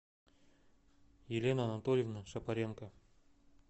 елена анатольевна шапаренко